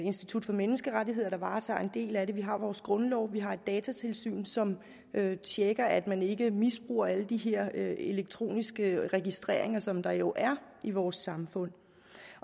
institut for menneskerettigheder der varetager en del af det vi har vores grundlov vi har et datatilsyn som tjekker at man ikke misbruger alle de her elektroniske registreringer som der jo er i vores samfund